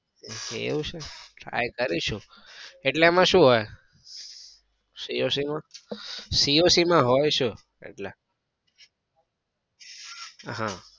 એવું છે હા કરીશું. એટલે એમાં શું હોય? coc માં? coc માં હોય શું એટલે? હા